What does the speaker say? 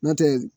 N'o tɛ